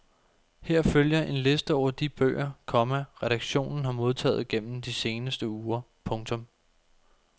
Her følger en liste over de bøger, komma redaktionen har modtaget gennem de seneste uger. punktum